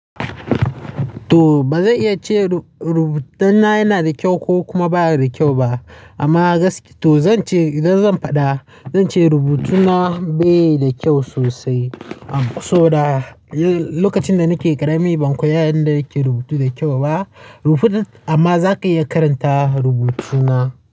To ba zan iya ce rubutuna yana da kyau ko kuma baya da kyau ba. Amma gaskiya to zan ce idan zan faɗa zan ce rubutuna ba yi da kyau sosai. Am so da lokacin da nake ƙarami ban koya yanda ake rubutu da kyau ba. Amma zaka iya karanta rubutuna.